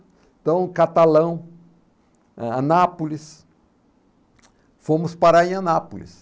Então, Catalão, ah, Anápolis, fomos parar em Anápolis.